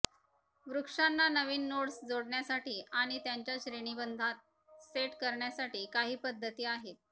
वृक्षांना नवीन नोड्स जोडण्यासाठी आणि त्यांच्या श्रेणीबंधात सेट करण्यासाठी काही पद्धती आहेत